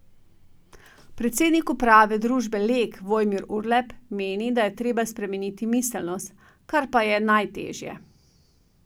Predsednik uprave družbe Lek Vojmir Urlep meni, da je treba spremeniti miselnost, kar pa da je najtežje.